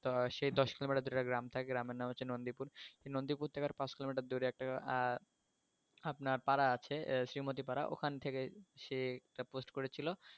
তো সে দশ কিলোমিটার দূরে একটা গ্রামে থাকে গ্রামের নাম হলো নন্দিপুর নন্দিপুর থেকে পাঁচ কিলোমিটার দূরে একটা আহ আপনার পাড়া আছে শ্রিমতি পারা ওখান থেকে সে একটা post করেছিলো